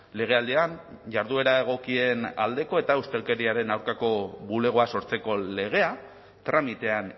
legealdian jarduera egokien aldeko eta ustelkeriaren aurkako bulegoa sortzeko legea tramitean